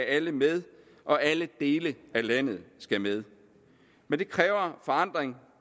alle med og alle dele af landet skal med men det kræver forandring